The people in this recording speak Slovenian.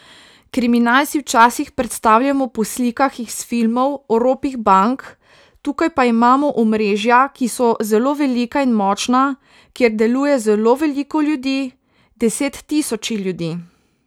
Kriminal si včasih predstavljamo po slikah iz filmov o ropih bank, tukaj pa imamo omrežja, ki so zelo velika in močna, kjer deluje zelo veliko ljudi, deset tisoči ljudi.